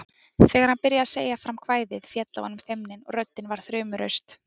Þegar hann byrjaði að segja fram kvæðið féll af honum feimnin og röddin varð þrumuraust